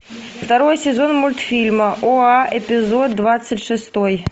второй сезон мультфильма оа эпизод двадцать шестой